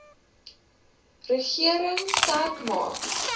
regering sterk maak